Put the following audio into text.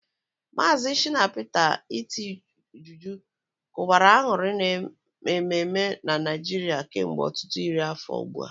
Maazị Shina Peter's iti juju kụbara aṅụrị n'ememe na Naịjirịa kemgbe ọtụtụ iri afọ ugbu a.